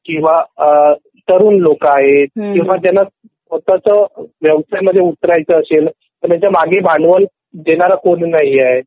अ तरुण लोक आहेत किंवा ज्यांना स्वतःच व्यवसाय मध्ये उतरायचं असेल पण त्याचंही भांडवल देणारा कोणी नहिये